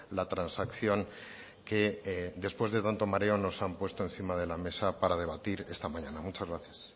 la transacción que después de tanto mareo nos han puesto encima de la mesa para debatir esta mañana muchas gracias